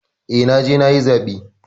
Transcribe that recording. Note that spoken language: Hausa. Eh, naje nayi zaɓe.